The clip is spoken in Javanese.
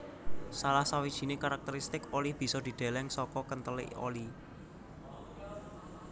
Salah sawijiné karakteristik oli bisa dideleng saka kenthelé oli